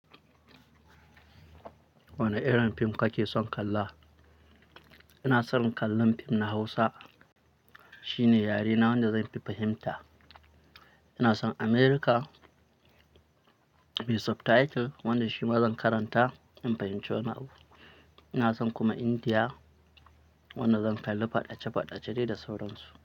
Wane irin fim kake son kalla? Ina son kallon fim na Hausa shine yarena wanda zan fi fahimta. Ina son America me subtitle wanda shi ma zan karanta in fahimci wani abu. Ina son kuma Indiya wanda zan kalli faɗace-faɗace dai da sauransu.